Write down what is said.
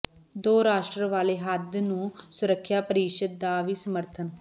ਦੋ ਰਾਸ਼ਟਰ ਵਾਲੇ ਹੱਲ ਨੂੰ ਸੁਰੱਖਿਆ ਪ੍ਰਰੀਸ਼ਦ ਦਾ ਵੀ ਸਮਰਥਨ